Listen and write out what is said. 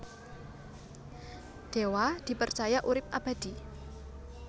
Dewa dipercaya urip abadi